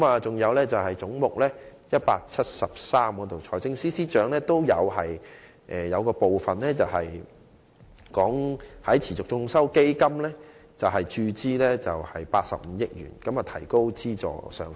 至於總目 173， 財政司司長在預算案中建議向持續進修基金注資85億元，以提高資助上限。